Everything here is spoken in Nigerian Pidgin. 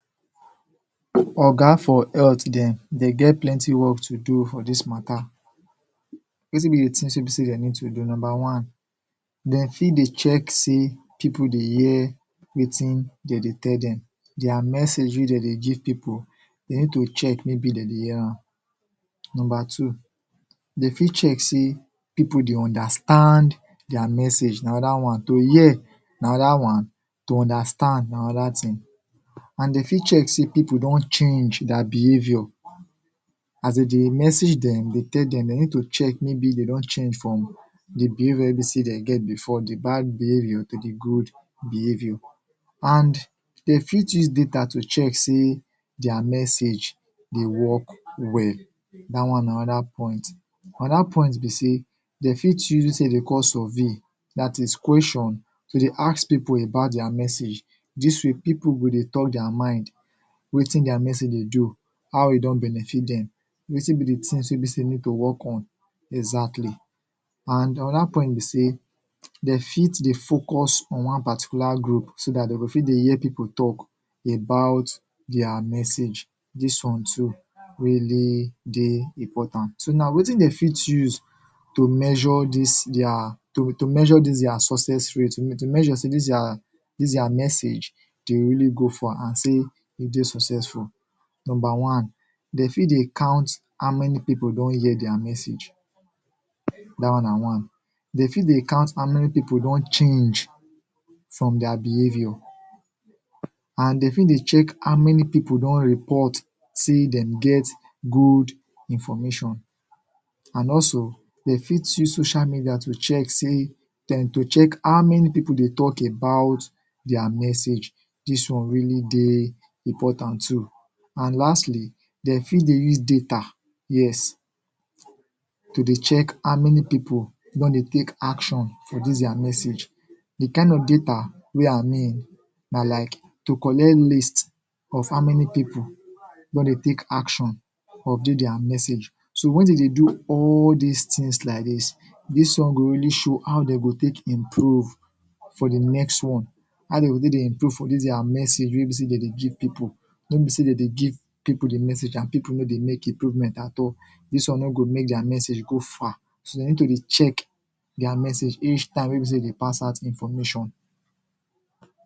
Oga for health dem dey get plenty work to do for this matter wetin be the things wey be say dem need to do number one dem fit de check say people de hear wetin dem de tell dem their message wey dem de give people dem need to check maybe dem de hear am number two dem fit check say people de understand their message na anoda one to hear na other one to understand na other thing and dem fit check say people don change their behaviour as dem de message dem de tell dem de need to check maybe dem don change from the behaviour wey be say dem get before d bad behaviour to the good behaviour and dem fit use data to check say their message de work well dat one na oda point anoda point be say dem fit use dis tin wey dem de call survey dat is question to dey ask people about their message this way people go de talk their mind wetin dia message de do how e don benefit dem wetin be d things wey be say dem need to work on exactly and anoda point be say dem fit de focus on one particular group so dat dem go fit de hear people talk about their message this one too really de important so now wetin dem fit use to measure this their to to measure this their success rate to measure say this their this their message de really go far and say e dey successful number one dey fit de count how many people don hear their message that one na one them fit de count how many people don change from their behaviour and dem fit de check how many people don report say dem get good information and also dem fit use social media to check say then to check how many people de talk about their message this one really de important too and lastly dem fit de use data yes to the check how many people don de take action for this their message the kind of data wey our name na like to collect list of how many people don de take action of thi their message so when them de do all this things like this this one go really show how dem go take improve for the next one how de go take de improve for this their message wey be say dem de give people no be say dem de give people the message and people no de make improvement at all this one no go make their message go far so dem need to de check their message each time wey be say dem de pass out information